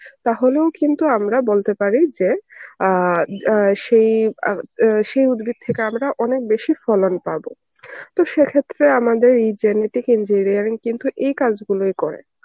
তাহলেও কিন্তু আমরা বলতে পারি যে অ্যাঁ অ্যাঁ সেই অ্যাঁ অ্যাঁ সেই উদ্ভিদ থেকে আমরা অনেক বেশি ফলন পাব. তো সে ক্ষেত্রে আমাদের এই genetic engineering কিন্তু এই কাজগুলোই করে.